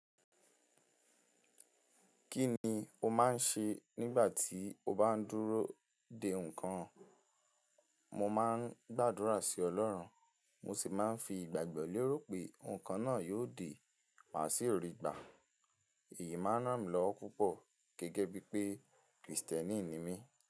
Kí ni o máa ń ṣe nígbà tí o bá ń dúró de nǹkan? Mo máa ń gbàdúrà sí Ọlọ́run, mo sì máa ń fi ìgbàgbọ́ lérò pé nǹkan náà yóò dé má sì rí gbà. Èyí máa ń ràn mí lọ́wọ́ púpọ̀ gẹ́gẹ́ bí pé Krìstẹ́nì ni mí.